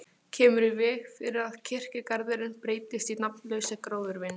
Kemur í veg fyrir að kirkjugarðurinn breytist í nafnlausa gróðurvin.